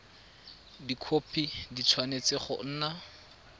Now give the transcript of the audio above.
dikhopi di tshwanetse go nna